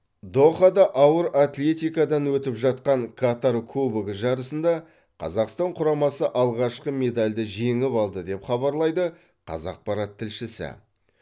дохада ауыр атлетикадан өтіп жатқан катар кубогы жарысында қазақстан құрамасы алғашқы медальді жеңіп алды деп хабарлайды қазақпарат тілшісі